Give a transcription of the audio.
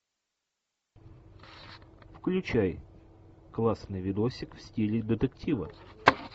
включай классный видосик в стиле детектива